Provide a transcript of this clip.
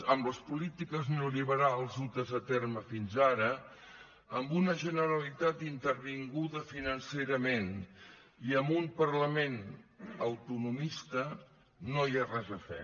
amb les polítiques neolliberals dutes a terme fins ara amb una generalitat intervinguda financerament i amb un parlament autonomista no hi ha res a fer